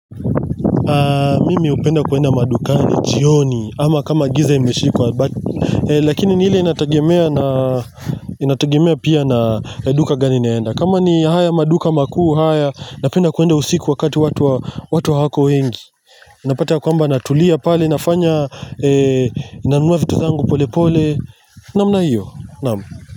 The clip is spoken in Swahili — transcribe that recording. Mimi hupenda kuenda madukani jioni ama kama giza imeshika Lakini ni ile inatagemea pia na duka gani naenda Kama ni haya maduka makuu haya napenda kuenda usiku wakati watu hawako wengi Napata kwamba natulia pale nafanya, nanunua vitu zangu pole pole Namna hiyo Nam.